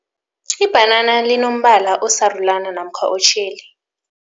Ibhanana linombala osarulana namkha otjheli.